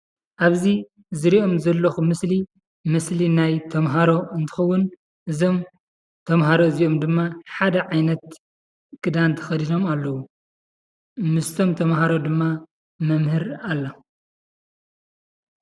ኣብዚ ዝርኦም ዘለኩ ምስሊ ምስሊ ናይ ተማሃሮ እንትኸውን እዞም ተማሃሮ እዚኦም ድማ ሓደ ዓይነት ክዳን ተከዲኖም ኣለዉ:: ምስቶም ተማሃሮ ድማ መምህር ኣላ።